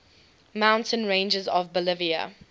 mountain ranges of bolivia